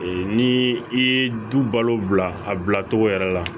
Ee ni i ye du balo bila a bila cogo yɛrɛ la